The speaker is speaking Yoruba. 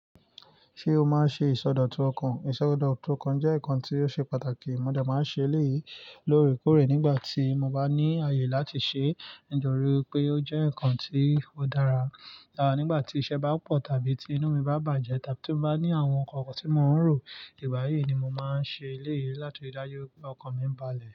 Ṣé o máa ṣe ìsọdọ̀tun ọkàn? Ìsọdọ̀tun ọkàn jẹ́ nǹkan tí ó ṣe pàtàkì. Mo dè máa ń ṣe léyìí lórèkórè nígbà tí mo bá ní àyè láti ṣe. Nítorí pé ó jẹ́ nǹkan tí ó dára. À, nígbà tí iṣẹ́ bá pọ̀ tàbí tí inú mi bá bàjẹ́ tàbí tí mo bá ní àwọn nǹkan tí mo ń rò, ìgbà yí ni mo máa ń ṣe léyìí láti ri dájú pé ọkàn mi ń balẹ̀.